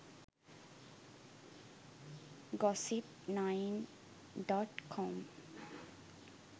gossip 9.com